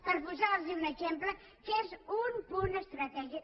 per posar los un exemple que és un punt estratègic